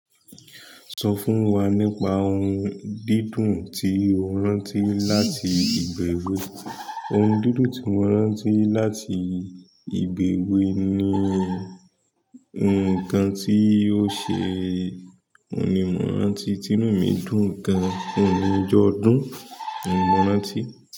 Sọ fún wa nípa ohun dídùn tí o rántí láti ìgbà èwe. Ohun dídùn tí mo rántí láti ìgbà èwe ni nkan tí o ṣe, òní mo rántí, tìnu mi dùn gan, òhun ní ijọ́ ọdún ohun mo rántí.